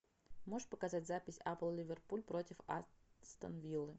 можешь показать запись апл ливерпуль против астон виллы